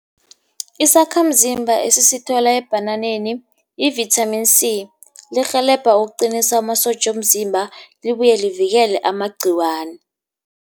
Isakhamzimba esisithola ebhananeni i-vitamin C, lirhelebha ukuqinisa amasotja womzimba libuye livikele amagciwana.